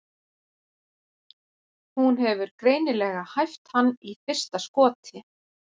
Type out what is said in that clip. Hún hefur greinilega hæft hann í fyrsta skoti.